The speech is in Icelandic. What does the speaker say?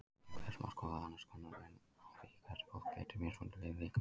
Auk þessa má skoða annars konar mun á því hvernig fólk beitir mismunandi hliðum líkamans.